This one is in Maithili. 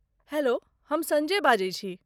हैलो, हम सञ्जय बजै छी।